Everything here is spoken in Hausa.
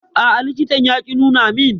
A'a, likitan ya ƙi nuna min.